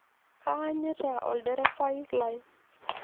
Kaanyita olderevai lai.